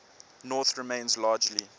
north remains largely